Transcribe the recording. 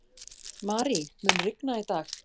Marie, mun rigna í dag?